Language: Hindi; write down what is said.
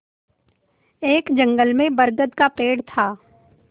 एक जंगल में बरगद का पेड़ था